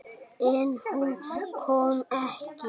En hún kom ekki.